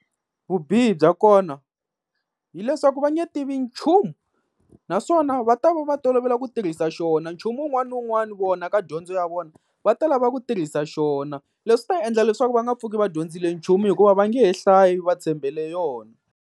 Vubihi bya kona hileswaku va nge tivi nchumu, naswona va ta va va tolovele ku tirhisa xona, nchumu wun'wana ni wun'wana vona ka dyondzo ya vona va ta lava ku tirhisa xona. Leswi ta endla leswaku va nga pfuki va dyondzile nchumu hikuva va nge he hlayi va tshembele yona.